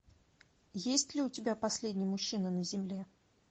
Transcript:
есть ли у тебя последний мужчина на земле